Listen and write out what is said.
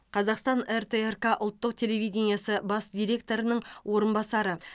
қазақстан ртрк ұлттық телевидениесі бас директорының орынбасары